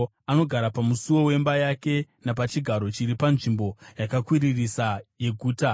Anogara pamusuo wemba yake, napachigaro chiri panzvimbo yakakwiririsa yeguta,